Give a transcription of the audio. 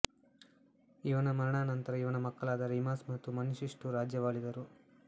ಇವನ ಮರಣಾನಂತರ ಇವನ ಮಕ್ಕಳಾದ ರಿಮಸ್ ಮತ್ತು ಮನಿಷ್ಟುಷು ರಾಜ್ಯವಾಳಿದರು